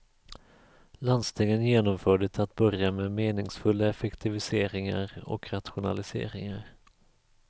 Landstingen genomförde till att börja med meningsfulla effektiviseringar och rationaliseringar.